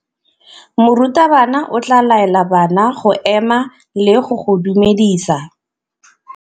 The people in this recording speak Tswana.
Morutabana o tla laela bana go ema le go go dumedisa.